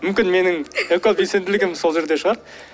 мүмкін менің экобелсенділігім сол жерде шығар